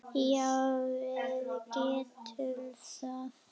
Já, við getum það.